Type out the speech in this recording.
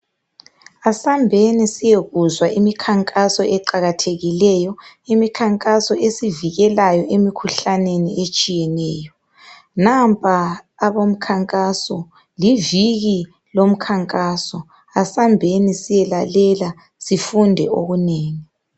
Asambeni siyekuzwa imikhankaso eqakathekileyo. Imikhankaso esivikelayo emikhuhlaneni etshiyeneyo. Nampa abomkhankaso, liviki lomkhankaso. Asambeni siyelalela ,sifunde okunengi.